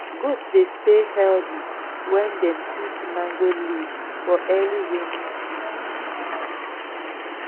goat dey stay healthy when dem eat mango leaf for early rainy season